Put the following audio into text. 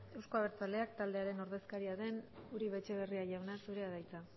euzko abertzaleak taldearen ordezkaria den uribe etxebarria jauna zurea da hitza